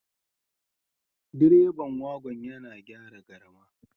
Direban wagon yana gyara garma